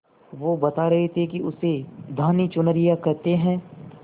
वो बता रहे थे कि उसे धानी चुनरिया कहते हैं